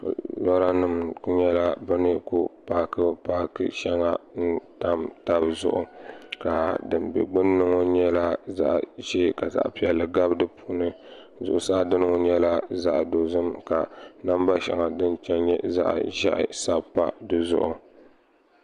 loranima ku nyɛla bɛ ni ku paaki paaki shɛŋa n-tam taba zuɣu ka din be gbunni ŋɔ nyɛla zaɣ'ʒee ka zaɣ'piɛlli gabi di puuni zuɣusaa dini ŋɔ nyɛla zaɣ'dozim ka namba shɛŋa din che n-nyɛ zaɣ'ʒiɛhi sabi pa di zuɣu